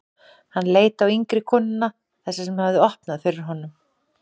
Hann leit á yngri konuna, þessa sem hafði opnað fyrir honum.